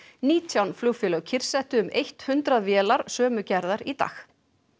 nítján flugfélög kyrrsettu um eitt hundrað vélar sömu gerðar í dag